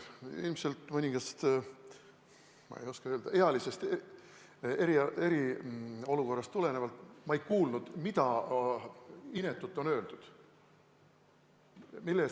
Teie erakonna häälekandja ja paljud teie erakonna liikmed on süüdistanud Reformierakonda koroonaviiruse levitamises.